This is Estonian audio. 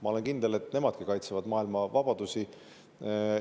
Ma olen kindel, et nemadki kaitsevad maailma vabadusi.